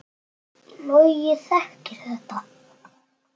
Logi þekkir þetta.